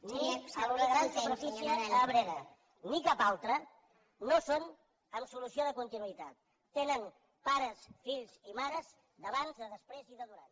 ni la gran superfície a abrera ni cap altre no ho són amb solució de continuïtat tenen pares fills i mares d’abans de després i de durant